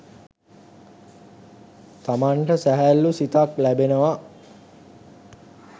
තමන්ට සැහැල්ලූ සිතක් ලැබෙනවා